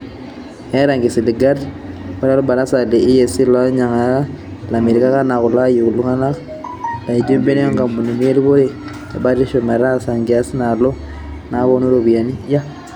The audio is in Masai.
Eeeta nkisiligat ore olbarasa le ACEA loolanyiangak - Olamirak naa kelo ayietu ilaiguranak laaijo ibenkii o nkampunini eripore e batisho metaasa enkias nalio nabolu iropiyiani.